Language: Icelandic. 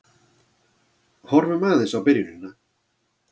Horfum aðeins á byrjunina.